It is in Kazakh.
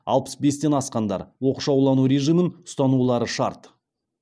алпыс бестен асқандар оқшаулану режимін ұстанулары шарт